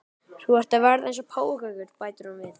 Þú ert að verða eins og páfagaukur, bætir hún við.